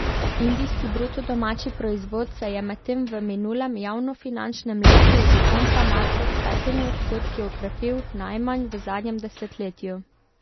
Indijski bruto domači proizvod se je medtem v minulem javnofinančnem letu do konca marca s petimi odstotki okrepil najmanj v zadnjem desetletju.